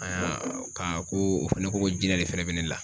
ka ko ,o fɛnɛ ko ko jinɛ de fɛnɛ be ne la.